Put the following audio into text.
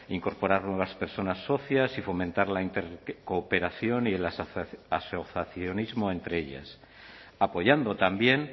incorporar nuevas personas socias y fomentar la intercooperación y el asociacionismo entre ellas apoyando también